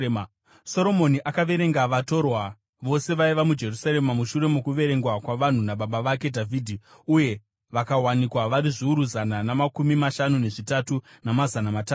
Soromoni akaverenga vatorwa vose vaiva muIsraeri mushure mokuverengwa kwavanhu nababa vake Dhavhidhi; uye vakawanikwa vari zviuru zana namakumi mashanu nezvitatu namazana matanhatu.